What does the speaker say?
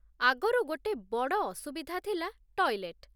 ଆଗରୁ ଗୋଟେ ବଡ଼ ଅସୁବିଧା ଥିଲା ଟଏଲେଟ୍।